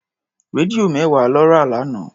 Rédíò mẹ́wàá lọ rà lánàá.